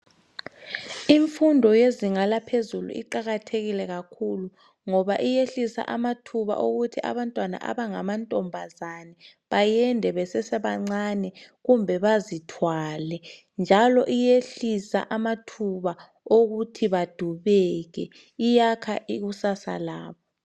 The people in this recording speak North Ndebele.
Imfundo yezinga laphezulu iqakathekile kakhulu ngoba iyehlisa amathuba okuthi abantwana abangamantombazana bayende besasebancani kumbe bazithwale njalo iyehlisa amathuba wokuthi badubeke iyakha ikusasa labo.